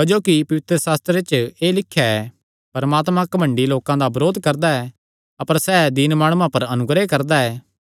क्जोकि पवित्रशास्त्रे च एह़ लिख्या ऐ कि परमात्मा घमंडी लोकां दा बरोध करदा ऐ अपर सैह़ दीन माणुआं पर अनुग्रह करदा ऐ